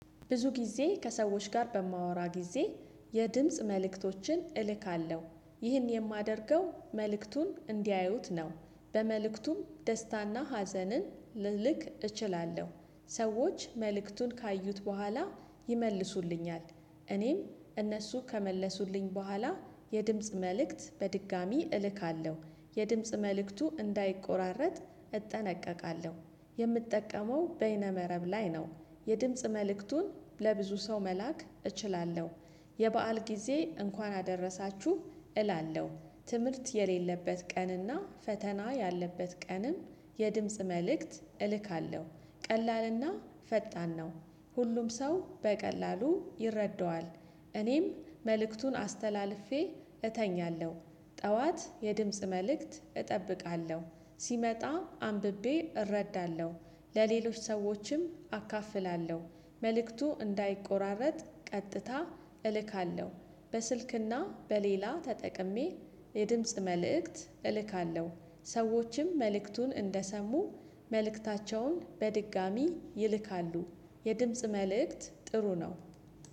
ብዙ ጊዜ ከሰዎች ጋር በማወራ ጊዜ የድምጽ መልእክቶችን እልካለሁ ይህን የማደርገው መልእክቱን እንዲያዩት ነው በመልእክቱም ደስታና ሀዘንን ልልክ እችላለሁ። ሰዎች መልእክቱን ካዩት በኋላ ይመልሱልኛል። እኔም እነሱ ከመለሱልኝ በኋላ የድምጽ መልእክት በድጋሚ እልካለሁ የድምጽ መልእክቱ እንዳይቆራረጥ እጠነቀቃለሁ። የምጠቀመው በይነ መረብ ላይ ነው። የድምጽ መልእክቱን ለብዙ ሰው መላክ እችላለሁ። የበአል ጊዜ እንኳን አደረሳችሁ እላለሁ። ትምህርት የሌለበት ቀንና ፈተና ያለበት ቀንም የድምጽ መልእክት እልካለሁ። ቀላልና ፈጣን ነው። ሁሉም ሰው በቀላሉ ይረዳዋል። እኔም መልእክቱን አስተላልፌ እተኛለሁ። ጠዋት የድምጽ መልእክት እጠብቃለሁ ሲመጣ አንብቤ እረዳለሁ። ለሌሎች ሰዎችም አካፍላለሁ። መልእክቱ እንዳይቆራረጥ ቀጥታ እልካለሁ። በስልክና በሌላ ተጠቅሜ የድምጽ መልእክት እልካለሁ። ሰዎችም መልእክቱን እንደሰሙ መልእክታቸውን በድጋሚ ይልካሉ። የድምጽ መልእክት ጥሩ ነው